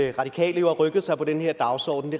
radikale har rykket sig på den dagsorden